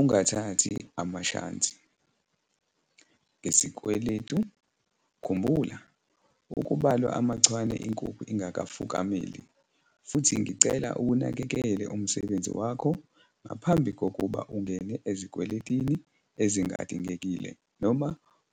Ungathathi amashansi ngesikweletu. khumbula - 'Akubalwa amachwane inkukhu ingakafukameli', futhi ngicela uwunakekele umsebenzi wakho ngaphambi kokuba ungene ezikweletini ezingadingekile noma